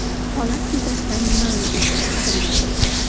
Holat yuzasidan jinoiy ish qo‘zg‘atilgan.